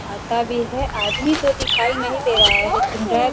आता भी है आदमी तो दिखाई नहीं दे रहा है लेकिन रैक --